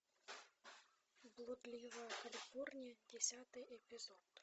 блудливая калифорния десятый эпизод